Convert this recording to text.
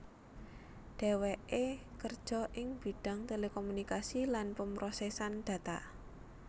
Dheweké kerja ing bidhang telekomunikasi lan pemrosesan data